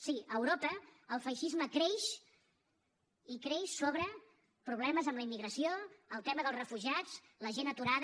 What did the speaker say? sí a europa el feixisme creix i creix sobre problemes amb la immigració el tema dels refugiats la gent aturada